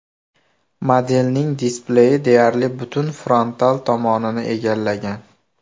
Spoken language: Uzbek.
Modelning displeyi deyarli butun frontal tomonini egallagan.